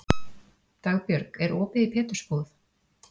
Dagbjörg, er opið í Pétursbúð?